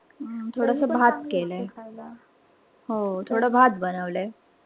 थोडस भात केलाय खायला. थोडं भात बनवलाय.